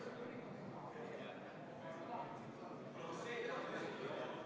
Kas teie olete Mali konflikti asjaoludega paremini kursis kui lugupeetud kolleeg Jaak Juske?